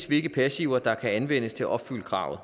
hvilke passiver der kan anvendes til at opfylde kravet